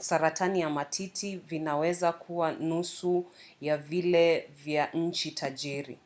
saratani ya matiti vinaweza kuwa nusu ya vile vya nchi tajiri